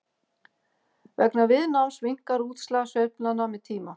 vegna viðnáms minnkar útslag sveiflnanna með tíma